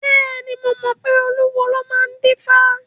Bẹ́ẹ̀ni, mo mọ pé olúwo ló máa ń dífá.